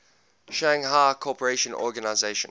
shanghai cooperation organization